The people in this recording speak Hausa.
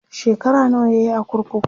shekara nawa yayi a kurkuku?